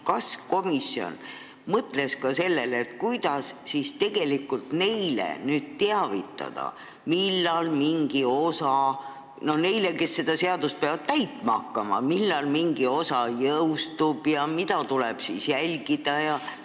Kas komisjon mõtles ka sellele, kuidas teavitada neid, kes seda seadust peavad täitma hakkama, millal mingi osa jõustub ja mida tuleb jälgida?